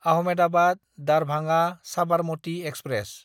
Ahmedabad Darbhanga Sabarmati express